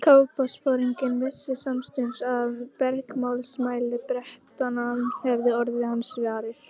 Kafbátsforinginn vissi samstundis að bergmálsmælar Bretanna hefðu orðið hans varir.